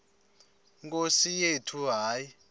nkosi yethu hayi